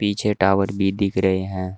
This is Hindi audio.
पीछे टॉवर भी दिख रहे हैं।